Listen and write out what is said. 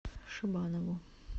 шибанову